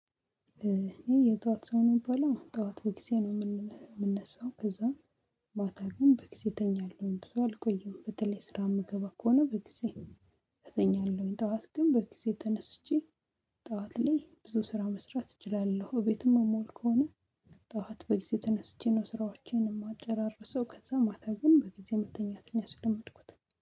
የጧት ሰው ነው የምባለው ጧት ቤቴ ነው የምን ሚነሳው ከዛ። ማታ ግን በጊዜ እተኛለሁ ብዙ አልቆየም በተለይ ስራ የምገባ ከሆነ በጊዜ። እተኛለሁኝ ጠዋት ግን በጊዜ ተነስቼ። ጠዋት ላይ ብዙ ስራ መስራት እችላለሁ ቤትም እምውል ከሆነ። ጠዋት በጊዜ ተነስቼ ነው ስራዎቼን የምጨራርሰው ከዛ ማታ ግን በጊዜ መተኛትን ያስለመድኩት